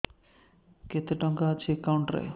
କେତେ ଟଙ୍କା ଅଛି ଏକାଉଣ୍ଟ୍ ରେ